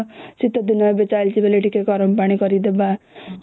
ସିଥ ଦୀନ ଚଲାଇଛି ବୋଲି ଗରମ ପାଣି ଟିକେ ଦେବା